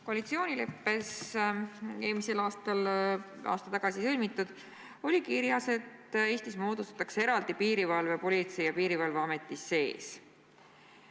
Koalitsioonileppes, mis aasta tagasi sõlmitud, on kirjas, et Eestis moodustatakse eraldi piirivalve Politsei- ja Piirivalveameti sees.